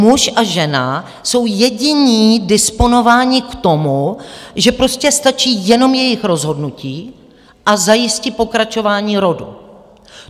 Muž a žena jsou jediní disponováni k tomu, že prostě stačí jenom jejich rozhodnutí, a zajistí pokračování rodu.